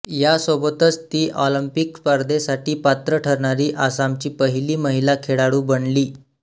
यासोबतच ती ऑलिम्पिक स्पर्धेसाठी पात्र ठरणारी आसामची पहिली महिला खेळाडू बनली